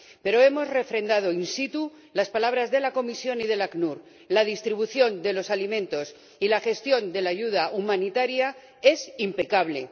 Pero hemos refrendado in situ las palabras de la Comisión y del ACNUR la distribución de los alimentos y la gestión de la ayuda humanitaria es impecable.